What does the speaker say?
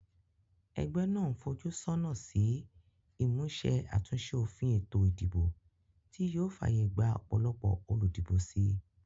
Egbé nàá n fojú sónà sí ìmúse àtúnse òfin ètò ìdìbò tí yío fàyè gba òpòlopò olùdìbò si